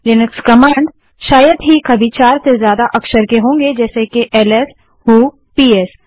Linux commands शायद ही कभी चार से ज्यादा अक्षर के होंगे जैसे कि एलएस व्हो ps